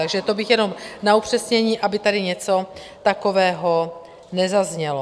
Takže to bych jenom na upřesnění, aby tady něco takového nezaznělo.